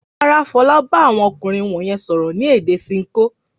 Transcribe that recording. Rárá, Fọlá bá àwọn ọkùnrin wọ̀nyẹn sọ̀rọ̀ ní èdè Ṣinkó.